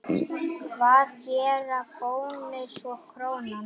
Hvað gera Bónus og Krónan?